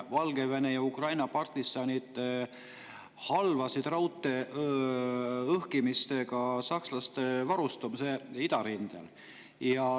Valgevene ja Ukraina partisanid halvasid raudtee õhkimisega sakslaste varustamise idarindel.